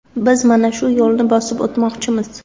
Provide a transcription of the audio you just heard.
Biz mana shu yo‘lni bosib o‘tmoqchimiz.